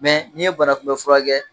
n'i ye banakunbɛfura kɛ.